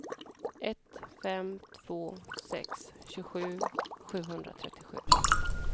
ett fem två sex tjugosju sjuhundratrettiosju